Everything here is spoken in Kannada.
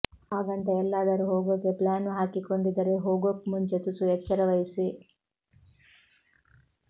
ಹಾಗಂತ ಎಲ್ಲದಾರೂ ಹೋಗೋಕೆ ಪ್ಲಾನ್ ಹಾಕಿಕೊಂಡಿದ್ದರೆ ಹೋಗೋಕ್ಮುಂಚೆ ತುಸು ಎಚ್ಚರ ವಹಿಸಿ